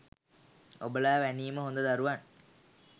ඔබලා වැනිම හොඳ දරුවන්